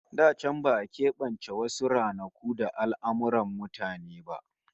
Da can ba'a kebance wasu ranaku da al'amurran mutane ba